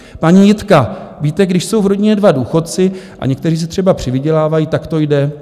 Paní Jitka: Víte, když jsou v rodině dva důchodci a někteří si třeba přivydělávají, tak to jde.